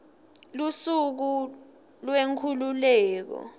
lusuku lwenkhululeko